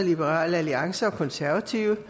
liberal alliance og konservative